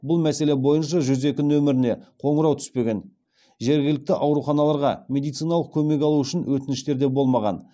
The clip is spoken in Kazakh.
бұл мәселе бойынша жүз екі нөміріне қоңырау түспеген жергілікті ауруханаларға медициналық көмек алу үшін өтініштер де болмаған